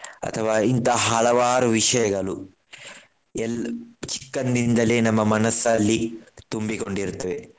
ಅಥವಾ ಇಂತಹ ಹಲವಾರು ವಿಷಯಗಳು ಎಲ್ಲ್~ ಚಿಕ್ಕಂದಿನಿಂದಲೇ ನಮ್ಮ ಮನಸಲ್ಲಿ ತುಂಬಿಕೊಂಡಿರ್ತದೆ.